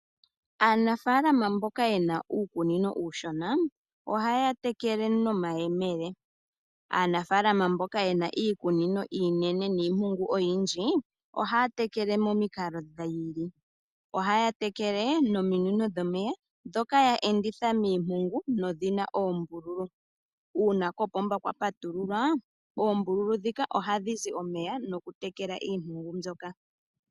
Aanafalama mboka yena uukunino uushona ohaya tekele nomayemele. Aanafalama mboka yena iikunino iinene niimpungu oyindji ohaya tekele momikalo dhiili. Ohaya tekele nominino dhomeya ndhoka yaenditha miimpungu nodhina oombululu. Uuna kompomba kwapatululwa oombululu dhika ohadhi zi omeya nokutekela iimpungu mbyoka.